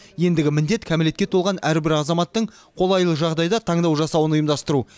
ендігі міндет кәмелетке толған әрбір азаматтың қолайлы жағдайда таңдау жасауын ұйымдастыру